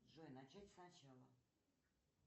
джой начать сначала